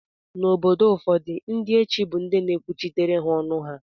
Na obodo ụfọdu ndi echi bu ndi na ekwuchitere ha ọnụ ha.